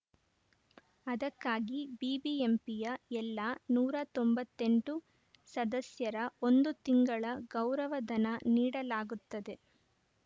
ಅದಕ್ಕಾಗಿ ಬಿಬಿಎಂಪಿಯ ಎಲ್ಲ ನೂರ ತೊಂಬತ್ತ್ ಎಂಟು ಸದಸ್ಯರ ಒಂದು ತಿಂಗಳ ಗೌರವ ಧನ ನೀಡಲಾಗುತ್ತದೆ